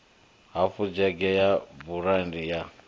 hafu dzhege ya burandi ya